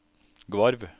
Gvarv